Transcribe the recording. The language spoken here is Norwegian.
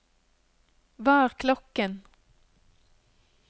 hva er klokken